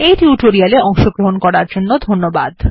এই টিউটোরিয়াল এ অংশগ্রহন করার জন্য ধন্যবাদ